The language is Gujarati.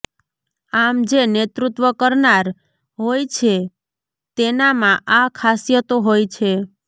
આમ જે નેતૃત્વ કરનાર હોય છે તેનામાં આ ખાસિયતો હોય છે